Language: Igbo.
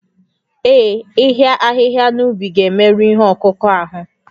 Ee, ịhịa ahịhịa n'ubi ga-emerụ ihe ọkụkụ ahụ